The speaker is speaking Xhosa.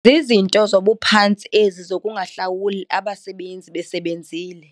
Zizinto zobuphantsi ezi zokungahlawuli abasebenzi besebenzile.